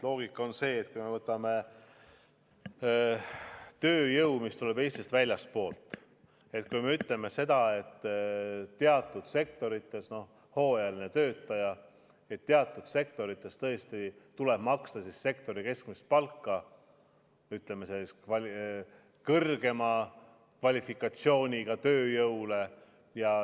Loogika on see, et kui me võtame tööjõu, mis tuleb Eestisse väljastpoolt, siis me ütleme seda, et teatud sektorites tuleb hooajalisele töötajale tõesti maksta sektori keskmist palka – ütleme, kõrgema kvalifikatsiooniga tööjõule.